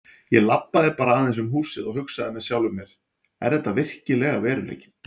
Ég labbaði bara aðeins um húsið og hugsaði með sjálfum mér: Er þetta virkilega veruleikinn?